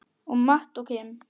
Og Matt og Kim?